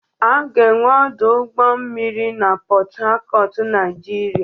A ga-enwe ọdụ ụgbọ mmiri na Pọt Hacọt Naịjirịa.